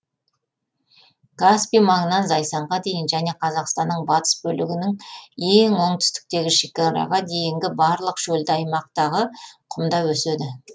каспий маңынан зайсанға дейін және қазақстанның батыс бөлігінің ең оңтүстіктегі шекараға дейінгі барлық шөлді аймақтағы құмда өседі